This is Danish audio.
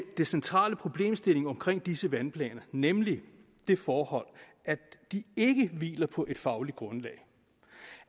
det centrale i problemstillingen omkring disse vandplaner nemlig det forhold at de ikke hviler på et fagligt grundlag